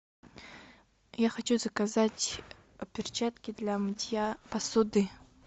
я хочу заказать перчатки для мытья посуды